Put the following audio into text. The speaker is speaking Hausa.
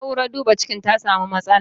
Na'urar duba cikin ta samu matsala.